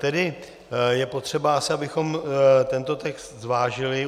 Tedy je potřeba asi, abychom tento text zvážili.